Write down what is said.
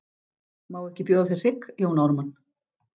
Má ekki bjóða þér hrygg Jón Ármann?